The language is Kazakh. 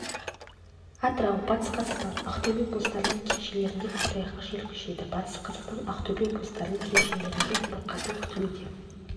атырау батыс қазақстан ақтобе облыстарының кей жерлерінде көктайғақ жел күшейеді батыс қазақстан ақтобе облыстарының кей жерлерінде бұрқасын күтіледі